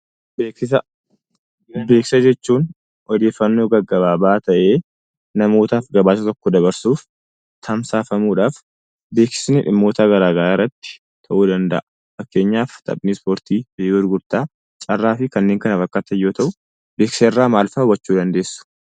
Beeksisa. Beeksisa jechuun ioddeefannoo gagabaabaa ta'e, namootaaf gabasaa tokko dabarsuudhaaf, tamsafamuudhaafii. Beeksiifni dhimoota gara garaa irratti ta'u danda'a faakkeenyaaf taaphni ispoortii kilebii gurgudaa, carraa fi kannen kana fakkataan yoo ta'u beeksisaa irra maal hubachuu dandesuu?